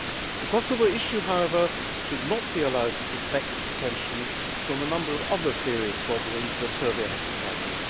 The Kosovo issue, however, should not be allowed to deflect attention from a number of other serious problems that Serbia has to tackle.